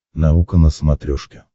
наука на смотрешке